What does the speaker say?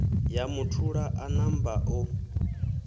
ya muthula a namba o